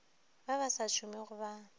ba ba sa šomego ba